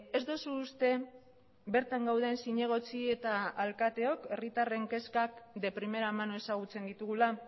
ez duzu uste bertan gauden zinegotzi eta alkateok herritarren kezkak de primera mano ezagutzen ditugula